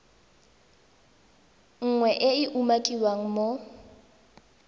nngwe e e umakiwang mo